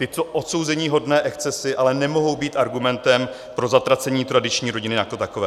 Tyto odsouzeníhodné excesy ale nemohou být argumentem pro zatracení tradiční rodiny jako takové.